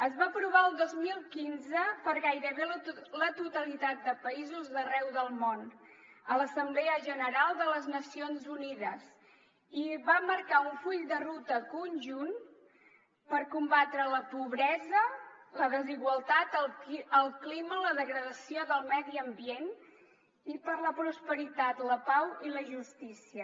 es va aprovar el dos mil quinze per gairebé la totalitat de països d’arreu del món a l’assemblea general de les nacions unides i va marcar un full de ruta conjunt per combatre la pobresa la desigualtat el clima la degradació del medi ambient i per la prosperitat la pau i la justícia